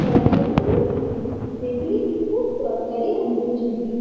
পড়ার জন্য খুব ইজি এগুলি খুব দরকারি আমাদের জন্য।